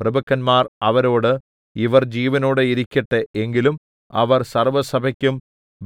പ്രഭുക്കന്മാർ അവരോട് ഇവർ ജീവനോടെ ഇരിക്കട്ടെ എങ്കിലും അവർ സർവ്വസഭയ്ക്കും